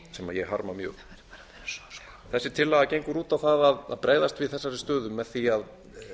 sem ég harma mjög þessi tillaga gengur út á það að bregðast við þessari stöðu með því að